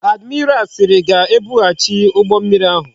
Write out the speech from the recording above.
Admiral siri ga ebu ghachite ugbo mmiri ahu